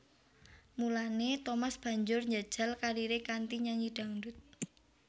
Mulané Thomas banjur njajal kariré kanthi nyanyi dhangdut